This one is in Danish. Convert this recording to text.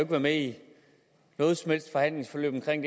med i noget som helst forhandlingsforløb omkring